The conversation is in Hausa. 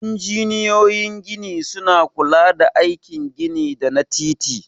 Injiniyoyin gini suna kula da aikin gini da na titi.